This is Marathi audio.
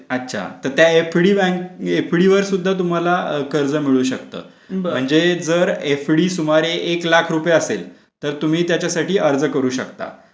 अच्छा तर तुम्हाला त्या एफडी वर कर्ज मिळू शकता म्हणजे जर एफडी सुमारे एक लाख रुपये असेल तर तुम्ही त्याच्यासाठी अर्ज करू